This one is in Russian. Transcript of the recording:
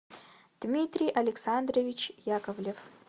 дмитрий александрович яковлев